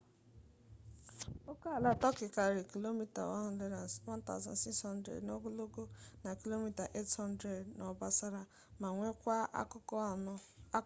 okeala turkey karịrị kilomita 1600 1000 mi n'ogologo na kilomita 800 500 mi n'obosara ma nwekwaa akụkụ anọ